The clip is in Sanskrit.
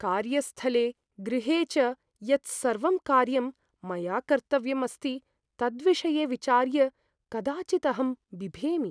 कार्यस्थले, गृहे च यत् सर्वं कार्यं मया कर्तव्यम् अस्ति तद्विषये विचार्य कदाचित् अहं बिभेमि।